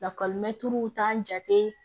Lakɔlimɛtiriw t'a jate